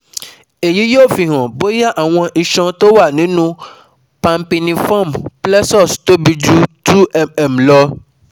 Èyí yóò fi hàn bóyá àwọn iṣan tó wà nínú pampiniform plexus tóbi ju two mm lọ